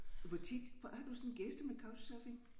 Hvor tit har du sådan gæster med couch surfing?